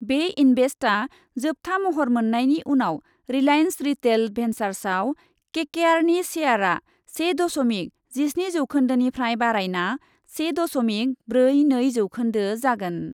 बे इन्भेस्टआ जोबथा महर मोन्नायनि उनाव रिलायेन्स रिटेल भेन्चार्सआव केकेआरनि शेयारआ से दशमिक जिस्नि जौखोन्दोनिफ्राय बारायना से दशमिक ब्रै नै जौखोन्दो जागोन।